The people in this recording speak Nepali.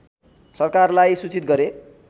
सरकारलाई सूचित गरे